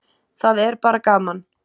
Það er bara gaman